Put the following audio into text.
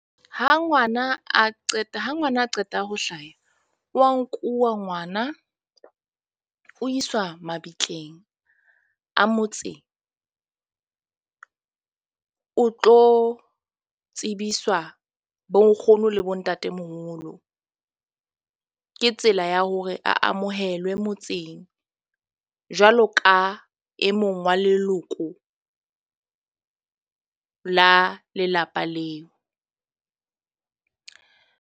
Ha ngwana a qeta ha ngwana, a qeta ho hlaha, wa nkuwa ngwana o iswa mabitleng a motseng o tlo tsebiswa bo nkgono le bo ntatemoholo. Ke tsela ya hore a amohelwe motseng jwalo ka e mong wa leloko la lelapa leo.